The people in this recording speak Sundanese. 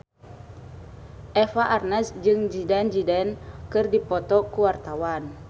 Eva Arnaz jeung Zidane Zidane keur dipoto ku wartawan